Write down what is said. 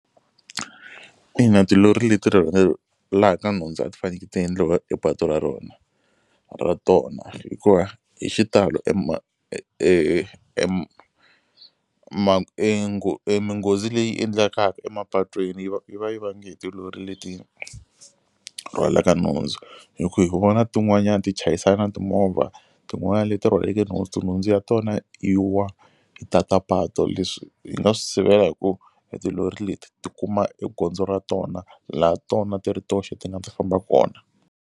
Ina tilori leti nhundzu a ti faneke ti endliwa patu ra rona ra tona hikuva hi xitalo e ma e minghozi leyi endlekaka emapatwini yi va yi va yi vange hi tilori leti rhwalaka nhundzu. Hi ku hi ku vona tin'wanyani ti chayisana na timovha tin'wana leti rhwaleke nhundzu, tinhundzu ya tona yi wa yi tata patu. Leswi hi nga swi sivela hi ku e tilori leti ti kuma e gondzo ra tona laha tona ti ri toxe ti nga ti famba kona.